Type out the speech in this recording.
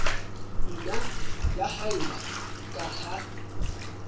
nna ya haella ka ha